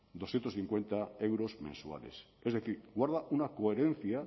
doscientos cincuenta euros mensuales es decir guarda una coherencia